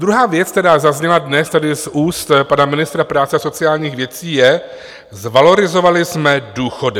Druhá věc, která zazněla dnes tady z úst pana ministra práce a sociálních věcí, je: zvalorizovali jsme důchody.